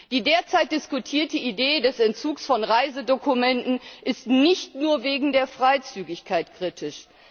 Die derzeit diskutierte Idee des Entzugs von Reisedokumenten ist nicht nur wegen der Freizügigkeit kritisch.